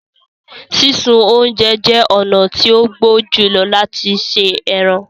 Sísun ọ̀unjẹ jẹ ọ̀na tí o gbó júlọ̀ lati ṣẹ ẹrán